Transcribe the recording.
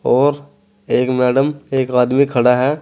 और एक मैडम एक आदमी खड़ा है।